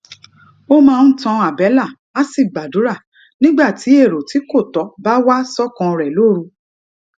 ó máa ń tan àbélà á sì gbàdúrà nígbà tí èrò tí kò tó bá wá sókàn rè lóru